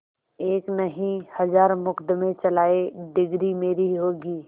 एक नहीं हजार मुकदमें चलाएं डिगरी मेरी होगी